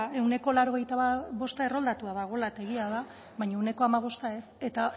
ehuneko laurogeita bostta erroldatua dagoela eta egia da baina ehuneko hamabostta ez eta